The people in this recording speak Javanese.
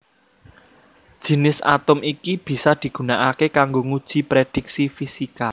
Jinis atom iki bisa digunakaké kanggo nguji prédhiksi fisika